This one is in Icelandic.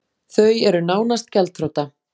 Þau eru nánast gjaldþrota